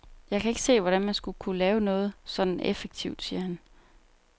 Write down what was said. Jeg kan ikke se, hvordan man skulle kunne lave noget sådant effektivt, siger han.